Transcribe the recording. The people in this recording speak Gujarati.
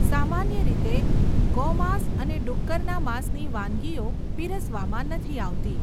સામાન્ય રીતે, ગોમાંસ અને ડુક્કરના માસની વાનગીઓ પીરસવામાં નથી આવતી.